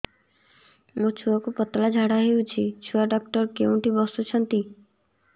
ମୋ ଛୁଆକୁ ପତଳା ଝାଡ଼ା ହେଉଛି ଛୁଆ ଡକ୍ଟର କେଉଁଠି ବସୁଛନ୍ତି